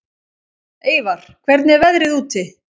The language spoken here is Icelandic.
Eyvar, hvernig er veðrið úti?